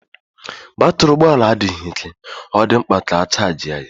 Batrị ụgbọ ala adịghị ike, ọ dị mkpa ka a chajị ya.